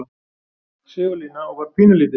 Sigurlína og var pínulítil.